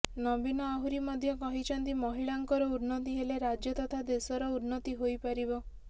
ନବୀନ ଆହୁରୀ ମଧ୍ୟ କହିଛନ୍ତି ମହିଳାଙ୍କର ଉନ୍ନତି ହେଲେ ରାଜ୍ୟ ତଥା ଦେଶର ଉନ୍ନତି ହୋଇପାରିବ